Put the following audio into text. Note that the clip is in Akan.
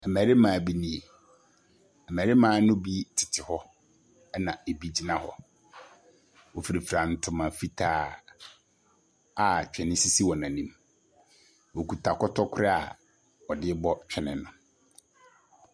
Mmarima bi nie. Mmarima npo bi tete hɔ, ɛna ebi gyina hɔ. Wɔfirafira ntoma fitaa a twene sisi wɔn anim. Wɔkita kɔtɔkorɔ a wɔde rebɔ twene no.